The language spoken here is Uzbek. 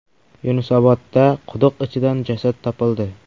Yunusobodda quduq ichidan jasad topildi.